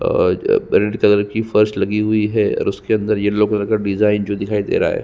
और violet colour की फर्स लगी हुई है और उसके अंदर येलो कलर का डिजाइन जो दिखाई दे रहा है।